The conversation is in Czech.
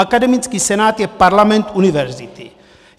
Akademický senát je parlament univerzity.